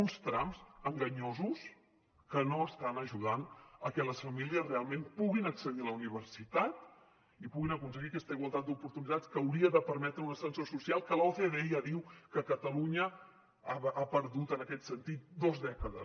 uns trams enganyosos que no estan ajudant que les famílies realment puguin accedir a la universitat i puguin aconseguir aquesta igualtat d’oportunitats que hauria de permetre un ascensor social que l’ocde ja diu que catalunya ha perdut en aquest sentit dos dècades